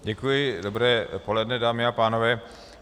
Děkuji, dobré poledne, dámy a pánové.